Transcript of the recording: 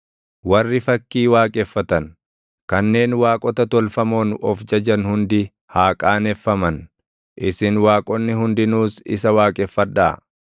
Warri fakkii waaqeffatan, kanneen waaqota tolfamoon of jajan hundi haa qaaneffaman; isin waaqonni hundinuus isa waaqeffadhaa!